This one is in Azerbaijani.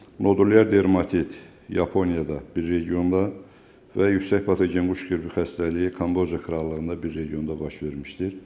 Nodulyar dermatit Yaponiyada bir regionda və yüksək patogen quş qripi xəstəliyi Kambodiya krallığında bir regionda baş vermişdir.